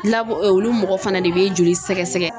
olu mɔgɔ fana de bɛ joli sɛgɛsɛgɛ.